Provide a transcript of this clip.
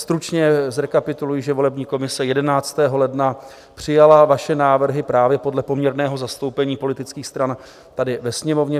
Stručně zrekapituluji, že volební komise 11. ledna přijala vaše návrhy právě podle poměrného zastoupení politických stran tady ve Sněmovně.